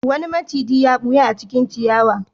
Wani maciji ya ɓuya a cikin ciyawa.